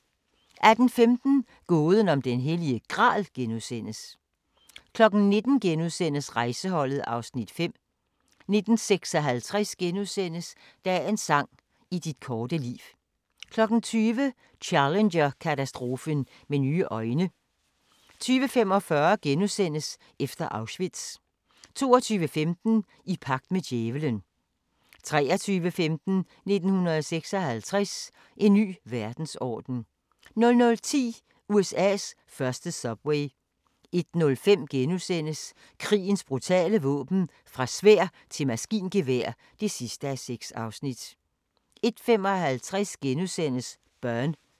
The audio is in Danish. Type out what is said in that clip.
18:15: Gåden om den hellige gral * 19:00: Rejseholdet (Afs. 5)* 19:56: Dagens sang: I dit korte liv * 20:00: Challenger-katastrofen med nye øjne 20:45: Efter Auschwitz * 22:15: I pagt med djævelen 23:15: 1956 – En ny verdensorden 00:10: USA's første subway 01:05: Krigens brutale våben – Fra sværd til maskingevær (3:3)* 01:55: Burn *